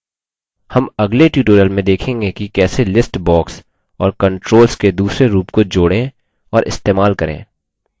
हम अगले ट्यूटोरियल में देखेंगे कि कैसे लिस्ट बॉक्स और कंट्रोल्स के दूसरे रूप को जोड़ें और इस्तेमाल करें